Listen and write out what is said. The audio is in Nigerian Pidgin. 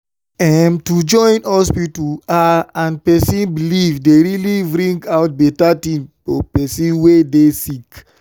em- to join hospita ah and pesin belief dey really bring out beta tin for pesin wey dey sick